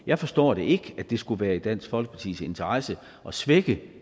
jeg forstår ikke at det skule være i dansk folkepartis interesse at svække